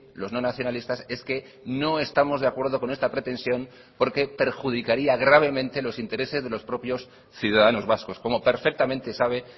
los no nacionalistas es que no estamos de acuerdo con esta pretensión porque perjudicaría gravemente los intereses de los propios ciudadanos vascos como perfectamente sabe